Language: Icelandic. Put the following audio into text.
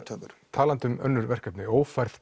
talandi um önnur verkefni ófærð